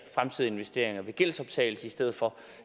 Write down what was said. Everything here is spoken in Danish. fremtidige investeringer ved gældsoptagelse i stedet for